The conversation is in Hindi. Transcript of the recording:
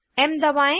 एम दबाएं